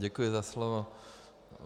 Děkuji za slovo.